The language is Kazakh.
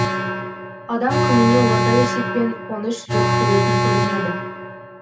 адам күніне орта есеппен он үш рет күлетін көрінеді